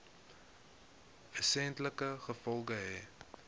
wesenlike gevolge hê